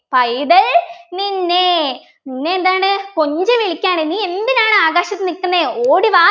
പൈതൽ നിന്നെ നിന്നെ എന്താണ് കൊഞ്ചിവിളിക്കാണ് നീ എന്തിനാണ് ആകാശത്ത് നിക്കുന്നെ ഓടി വാ